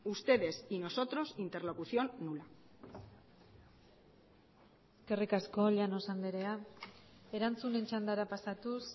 ustedes y nosotros interlocución nula eskerrik asko llanos andrea erantzunen txandara pasatuz